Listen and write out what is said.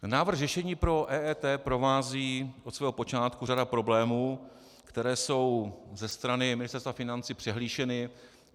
Návrh řešení pro EET provází od jeho počátku řada problémů, které jsou ze strany Ministerstva financí přehlíženy.